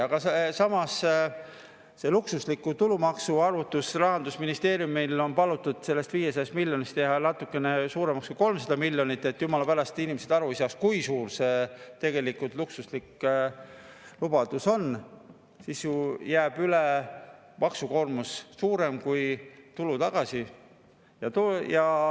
Samas selle luksusliku arvutus – Rahandusministeeriumil on palutud seda 500 miljonit teha natukene suuremaks kui 300 miljonit, et jumala pärast inimesed ei saaks aru, kui suur see luksuslik lubadus tegelikult on, sest siis ju jääb üle suurem maksukoormus kui tulu tagasi.